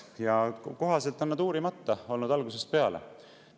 Ja kohaselt on nad uurimata olnud algusest peale.